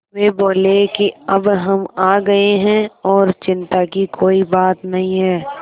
वे बोले कि अब हम आ गए हैं और चिन्ता की कोई बात नहीं है